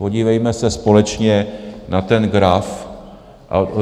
Podívejme se společně na ten graf.